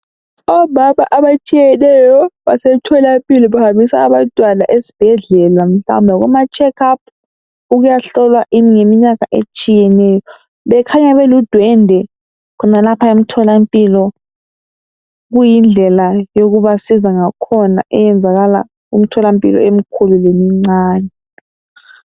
Omama abatshiyeneyo, basemtholampilo. Bahambisa abantwana esibhedlela. Mhlawumbe kumacheckup. Ukuyahlolwa ngeminyaka etshiyeneyo. Bekhanya beludwendwe, khonapha emtholampilo. Kuyindlela yokubasiza ngakhona, eyenzakala kumtholampilo, emikhulu. lemincane.